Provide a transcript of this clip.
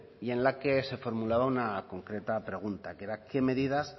y en la que se formulaba una concreta pregunta que era qué medidas